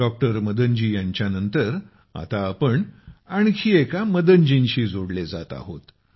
doctor Madan ji यांच्यानंतर आता आपण आणखी एका मदनजींशी जोडले जात आहोत